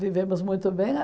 Vivemos muito bem.